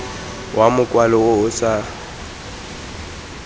wa mokwalo o o sa